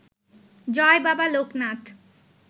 Joy Baba Loknath